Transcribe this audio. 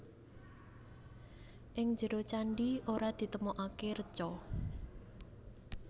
Ing njero candhi ora ditemokaké reca